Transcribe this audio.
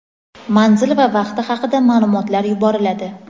manzil va vaqti haqida maʼlumotlar yuboriladi.